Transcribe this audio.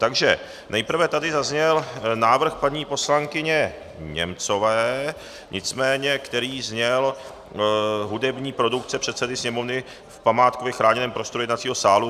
Takže nejprve tady zazněl návrh paní poslankyně Němcové, nicméně který zněl Hudební produkce předsedy sněmovny v památkově chráněném prostoru jednacího sálu.